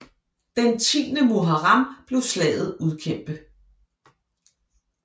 Den 10 Muharram blev slaget udkæmpet